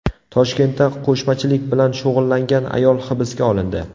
Toshkentda qo‘shmachilik bilan shug‘ullangan ayol hibsga olindi.